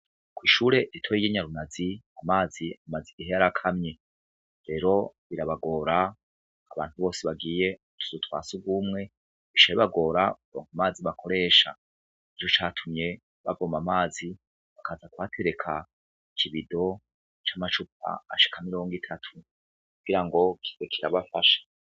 Kw'ishure ritoyi ry'i Nyarunazi, amazi amaze igihe yarakamye. Rero birabagora, abantu bose bagiye ku tuzu twa surwumwe, bica bibagora kuronka amazi bakoresha. Nico catumye bavoma amazi bakaza kuhatereka ikibido c'amacupa ashika mirongo itatu kugira ngo kibe kirabafasha.